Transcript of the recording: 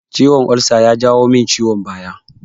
Ciwon ulsa ya janyo min ciwon baya